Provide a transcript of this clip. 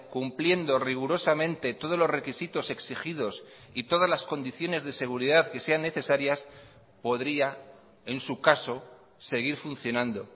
cumpliendo rigurosamente todos los requisitos exigidos y todas las condiciones de seguridad que sean necesarias podría en su caso seguir funcionando